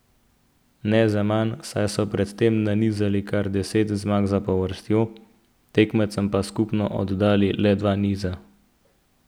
Ne zaman, saj so pred tem nanizali kar deset zmag zapovrstjo, tekmecem pa skupno oddali le dva niza.